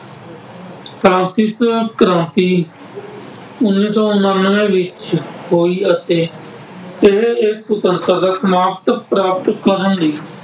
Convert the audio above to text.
Francis ਕ੍ਰਾਂਤੀ ਉੱਨੀ ਸੌ ਉਨਾਨਵੇਂ ਵਿੱਚ ਹੋਈ ਅਤੇ ਇਹ ਪ੍ਰਾਪਤ ਕਰਨ ਲਈ